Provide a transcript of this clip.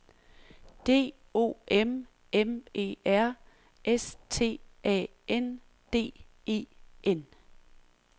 D O M M E R S T A N D E N